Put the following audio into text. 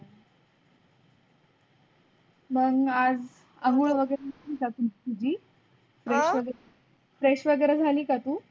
मंग आ़जआंगुड़ वगैरह झाली का तुझी fresh वगैरे झाली का तू?